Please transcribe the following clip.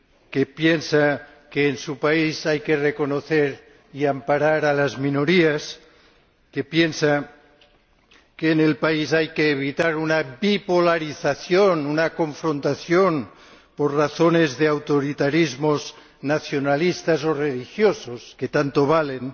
que piensa que en su país hay que reconocer y amparar a las minorías, que piensa que en su país hay que evitar una bipolarización, una confrontación por razones de autoritarismos nacionalistas o religiosos, que tanto valen.